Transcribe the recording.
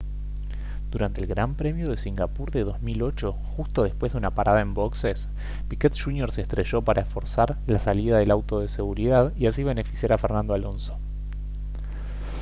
durante el gran premio de singapur de 2008 justo después de una parada en boxes piquet jr se estrelló para forzar la salida del auto de seguridad y así beneficiar a fernando alonso